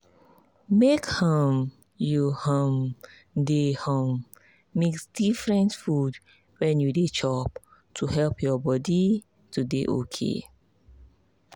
make um you um dey um mix different food when you dey chop to help your body. to dey okay